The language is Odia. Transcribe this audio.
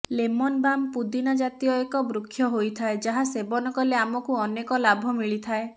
ଲେମନ ବାମ୍ ପୁଦିନା ଜାତୀୟ ଏକ ବୃକ୍ଷ ହୋଇଥାଏ ଯାହା ସେବନ କଲେ ଆମକୁ ଅନେକ ଲାଭ ମିଳିଥାଏ